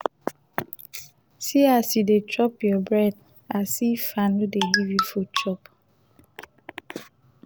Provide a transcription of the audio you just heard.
see as you dey chop your bread as if i no dey give you food